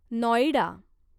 Noida